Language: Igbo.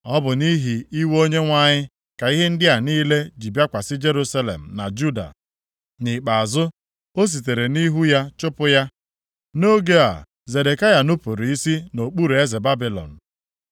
Ọ bụ nʼihi iwe Onyenwe anyị ka ihe ndị a niile ji bịakwasị Jerusalem na Juda. Nʼikpeazụ, o sitere nʼihu ya chụpụ ha. Nʼoge a, Zedekaya nupuru isi nʼokpuru eze Babilọn.